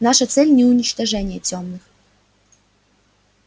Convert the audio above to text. наша цель не уничтожение тёмных